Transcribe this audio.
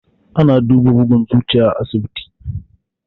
Ana duba bugun zuciya a asibiti.